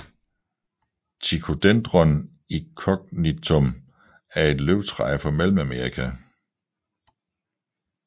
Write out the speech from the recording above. Ticodendron incognitum er et løvtræ fra Mellemamerika